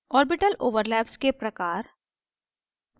orbital overlaps के प्रकार